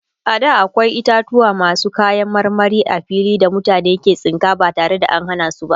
a da akwai itatauwa masu kayan marmari a fili da mutane ke tsinka ba tare da an Hana su ba